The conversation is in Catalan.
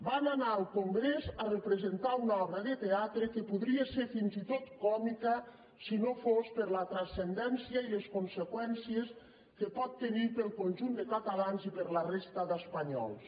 van anar al congrés a representar una obra de teatre que podria ser fins i tot còmica si no fos per la transcendència i les conseqüències que pot tenir per al conjunt de catalans i per a la resta d’espanyols